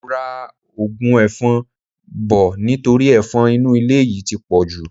Mo ra ogun efon bò nítorí efon inú ilé yìí ti pọ̀jù.